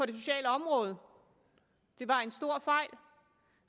det sociale område det var en stor fejl